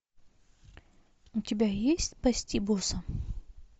у тебя есть спасти босса